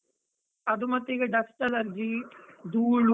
ಅದು ಮತ್ತೆ ಈಗ dust allergy , ಧೂಳು.